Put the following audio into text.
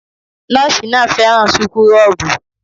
Nọ́ọ̀sì náà fẹ́ràn súkúrọ́bù